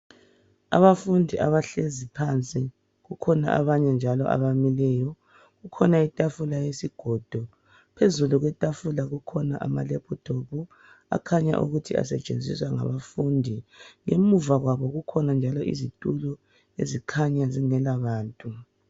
abafundi abahlezi phansi kukhona abanye njalo abamileyo kukhona itafula yesigodo phezulu kwe tafula kukhona amalephuthophu akhanya ukuthi asetshenziswa ngabafundi emuva kwabo kukhona njalo izitulo ezikhanya zingela bantu